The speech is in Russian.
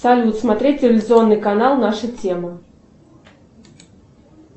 салют смотреть телевизионный канал наша тема